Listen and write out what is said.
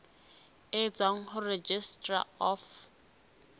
e tswang ho registrar of